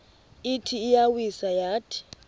ithi iyawisa yathi